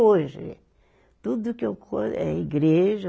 Tudo que eu coiso é igreja